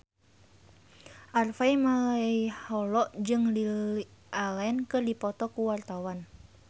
Harvey Malaiholo jeung Lily Allen keur dipoto ku wartawan